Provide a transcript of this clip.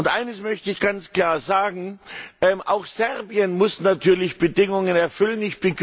Eines möchte ich ganz klar sagen Auch Serbien muss natürlich Bedingungen erfüllen.